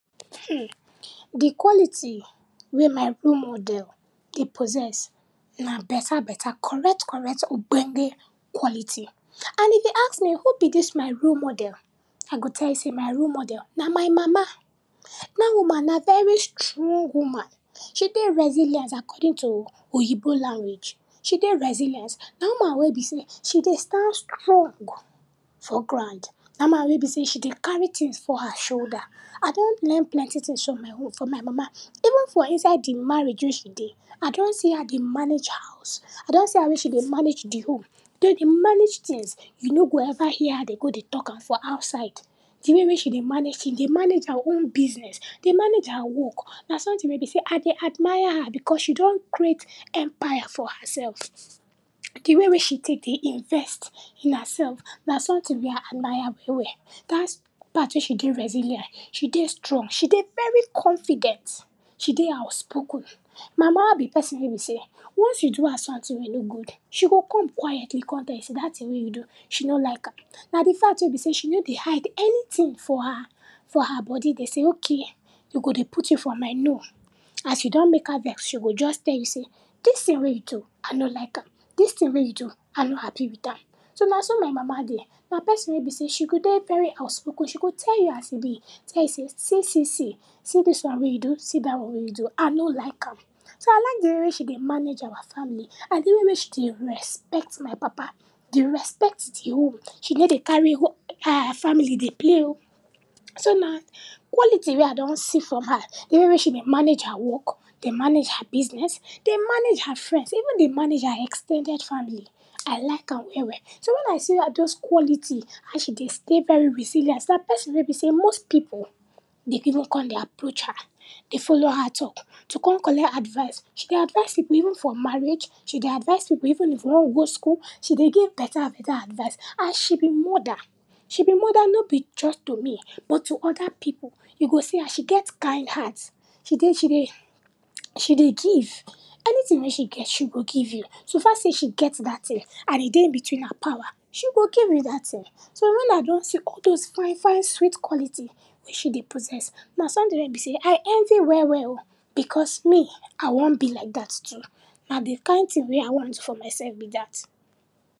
Hmmm, di quality wey my role model dey possess na beta beta, correct correct, ogbonge quality. And if you ask me who be dis my role model, I go tell you sey my role model na my mama. Dat woman na very strong woman, she dey resilient according to oyinbo language, she dey resilience. Na woman wey be sey she dey stand strong for ground, na woman wey be sey she dey carry tins for her shoulder. I don learn plenty tins from my wom, from my mama, even for inside di marriage wey she dey, I don see her dey manage her house, I don see her wey she dey manage di home, den dey manage tins. You no go ever hear her dey go dey talk am for outside di way wey she dey manage tins, dey manage her own business, dey manage her work, na sometin wey be sey I dey admire her because she don create empire for herself. Di way wey she tek dey invest in herseslf na sometin wey I admire well well. Dat part wey she dey resilient, she dey strong, she dey very confident, she dey outspoken. My mama be person wey be sey once you do am sometin wey no good, she go come quietly kon tell you sey dat tin wey you do she no like am, na di fact wey be sey she no dey hide anytin for her, for her body dey sey ok, you go dey put you for mind, no, as you don don mek her vex, she go just tell you sey dis tin wey you do, I no like am, dis tin wey you do, I no happy wit am, so, na so my mama dey. Na person wey be sey she go dey very outspoken, she go tell you how e be, she go tell you sey see see see, see dis one wey you do, see dat one wey you do, I no like am, so I like di way wey she dey managed our family and de way wey she dey respect my papa, dey respect di home, she ney dey carry her family dey playo. So, na quality wey I don see for her, di way wey dey manage her work, dey manage her business, dey manage her friends, even dey manage her ex ten ded family, I like am well well. So, when I see a dose quality, how she dey stay very resilient, na person wey be sey most pipu dey even kon dey approach her, follow her talk to kon collect advice. She dey advise pipu even for marriage, she dey advise pipu even if you wan go school, she dey give dem beta beta advise and she be moda, she be moda no be just to but to oda pipu. E go see am, she get kind heart, she dey, she dey, she dey give, anytin wey she get she go give you, sofa sey she get dat tin and e dey between her power, she go give you dat tin. So, when I don see all dose fine fine sweet quality wey she dey possess, na sometin wey be sey I envy well well o, because me, I wan be like dat too, na di kind tin wey I want for myself be dat.